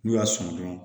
N'u y'a sɔn dɔrɔn